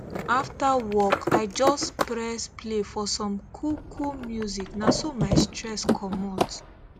after work i just press play for some coolcool music na so my stress commot